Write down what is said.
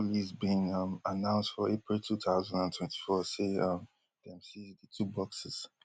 haitian police bin um announce for april two thousand and twenty-four say um dem seize di two boxes